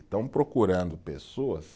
Estão procurando pessoas